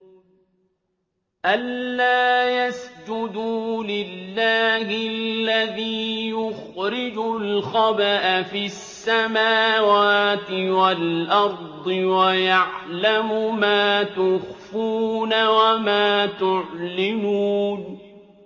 أَلَّا يَسْجُدُوا لِلَّهِ الَّذِي يُخْرِجُ الْخَبْءَ فِي السَّمَاوَاتِ وَالْأَرْضِ وَيَعْلَمُ مَا تُخْفُونَ وَمَا تُعْلِنُونَ